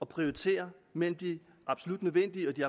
prioritere mellem de absolut nødvendige og de